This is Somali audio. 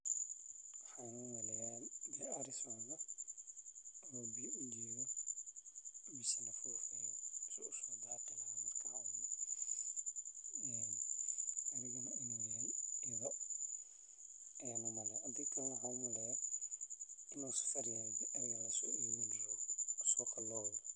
Waxaan umaleeya ari socdo oo biya ujeedo mise soo daaqi rabo waa ido ayaan umaleya ama waa safar oo wa lasoo iibini rabaa suuqa ayaa loo wadaa.